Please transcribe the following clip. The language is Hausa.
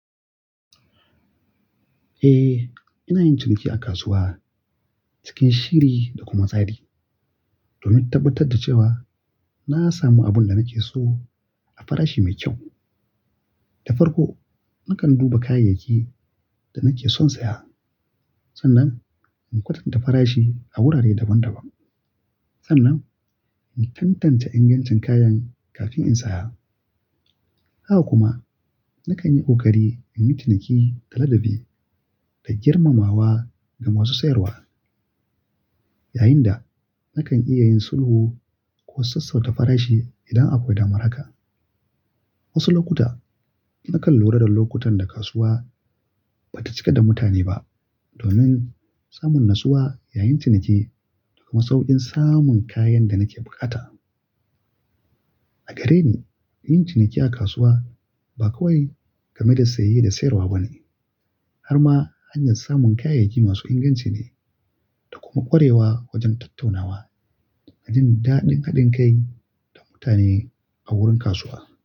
Eh, ina yin ciniki a kasuwa cikin shiri da kuma tsari domin tabbatar da cewa na samu abin da nake so a farashi mai kyau. Da farko, nakan duba kayayyakin da nake son saya. Sannan in kwatanta farashi a wurare daban-daban. Sannan in tantance ingancin kayan kafin in saya. Haka kuma nakan yi ƙoƙari in yi ciniki da ladabi da girmamawa ga masu sayarwa. Yayinda nakan iya yin sulhu ko sassauta farashi idan akwai damara ka. Wasu lokuta nakan lura da lokutan da kasuwa ba ta cika da mutane ba domin samun natsuwa yayin ciniki da kuma sauƙin samun kayan da nake bukata. A gare ni, yin ciniki a kasuwa ba kawai game da saye da sayarwa ba ne har ma hanyar samun kayayyaki masu inganci ne da kuma ƙwarewa wajen tattaunawa da jin daɗin haɗin kai da mutane a wurin kasuwa.